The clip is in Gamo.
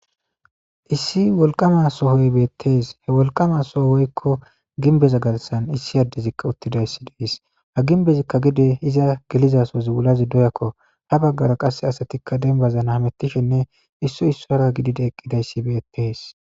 Issi wolqqama sohoyi beteesi. He wolqqama sohoyi woykko gimbbeza garssan issi addey uttidayssa de7eesi. Ha gimbbezakka gede izi geliza sohozi wulazi doyakko. Ha baggara qasse asati dembbazan hamettishene issoy issuwara gididi eqqidayssi beteesi.